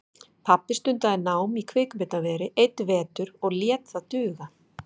Pabbi stundaði nám í kvikmyndaveri einn vetur og lét það duga.